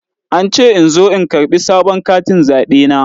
An ce in zo in karɓi sabon katin zaɓe na.